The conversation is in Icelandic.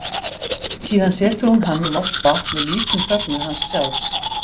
Síðan setur hún hann í volgt vatn við lítinn fögnuð hans sjálfs.